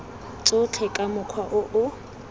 tsotlhe ka mokgwa o o